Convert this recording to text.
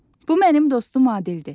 Bu mənim dostum Adildir.